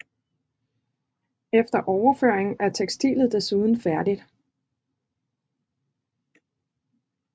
Efter overføringen er tekstilet desuden færdigt